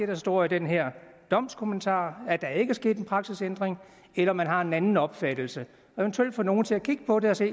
der står i den her domskommentar er der ikke er sket en praksisændring eller man har en anden opfattelse og eventuelt få nogle til at kigge på det og se